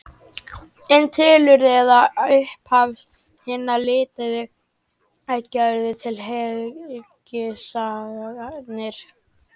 Um tilurð eða upphaf hinna lituðu eggja urðu til helgisagnir.